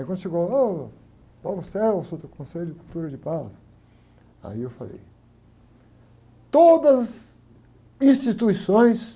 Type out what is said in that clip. Aí quando chegou, oh, do Conselho de Cultura de Paz, aí eu falei, todas as instituições...